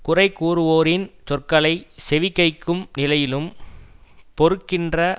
குறைகூறுவோறின் சொற்களை செவிகைக்கும் நிலையிலும் பொறுக்கின்ற